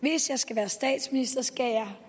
hvis jeg skal være statsminister skal jeg